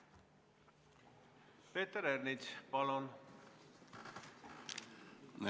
Peeter Ernits, palun!